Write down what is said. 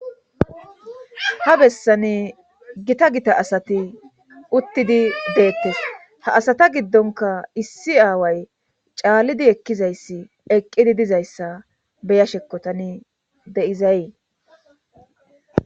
Ha bessane gita gita asati uttidi deettes ha asata giddonka issi aaway caallidi ekkizayssi eqqidi dizayssa beya shekkotani de7izay.